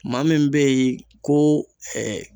Maa min be yen ko